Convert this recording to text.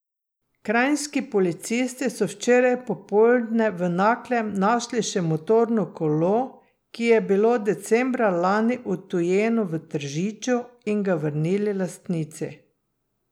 Kranjski policisti so včeraj popoldne v Naklem našli še motorno kolo, ki je bilo decembra lani odtujeno v Tržiču, in ga vrnili lastnici.